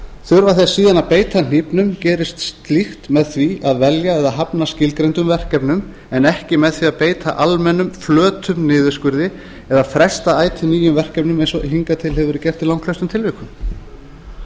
þurfa þeir síðan að beita hnífnum gerist slíkt með því að velja eða hafna skilgreindum verkefnum en ekki með því að beita almennum flötum niðurskurði eða fresta ætíð nýjum verkefnum eins og hingað til hefur verið gert í langflestum tilvikum